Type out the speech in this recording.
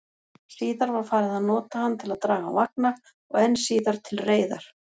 Síðar var farið að nota hann til að draga vagna, og enn síðar til reiðar.